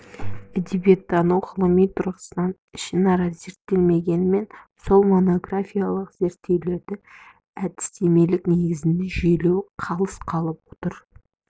әдебиеттану ғылымы тұрғысынан ішінара зерттелгенімен сол монографиялық зерттеулерді әдістемелік негізде жүйелеу қалыс қалып отыр